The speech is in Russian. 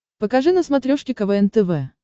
покажи на смотрешке квн тв